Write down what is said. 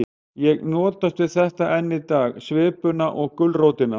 Ég notast við þetta enn í dag, svipuna og gulrótina.